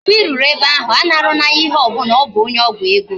Mgbe I ruru ebe ahụ, anara na ya ihe ọbụla, ọ bụ onye ọgwụ ego